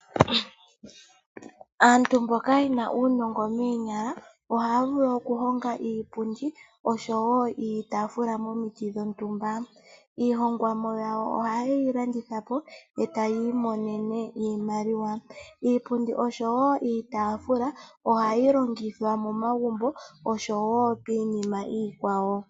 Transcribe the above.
Aantu mboka ye na uunongo moonyala ohaya vulu okuhonga iipundi oshowo iitafula momiti dhontumba, iihongomwa yawo ohaye yi landithapo etayi imonene iimaliwa. Iipundi oshowo iitafula ohayi longithwa momagumbo osho piinima iikwawo.